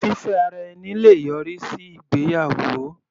Fífẹ́ ara ẹni le yọrí sí ìgbéyàwó.